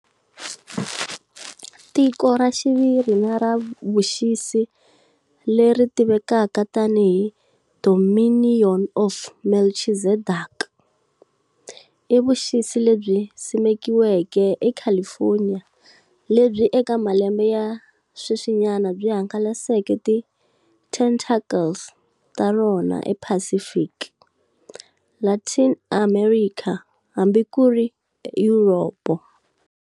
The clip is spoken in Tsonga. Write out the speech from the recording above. Tiko ra xiviri na ra vuxisi leri tivekaka tani hi"Dominion of Melchizedek" i vuxisi lebyi simekiweke e California lebyi eka malembe ya sweswinyana byi hangalaseke ti tentacles ta rona e Pacific, Latin America hambi kuri Europe.